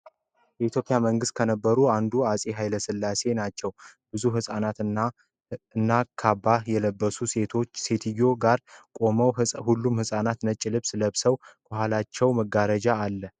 የኢትዮጵያ መንግስት ከነበሩት አንዱ አጼ ኃይለሥላሴ ናቸዉ ። ብዙ ህጻናት እና ካባ የለበሰች ሴትዮ ጋር ቁመዋል ። ሁሉም ህጻናት ነጭ ልብስ ለብሰዋል ። ከኋላቸው መጋረጃ አለ ።